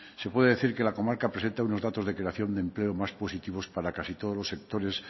se puede decir que la comarca presenta unos datos de creación de empleo más positivos para casi todos los sectores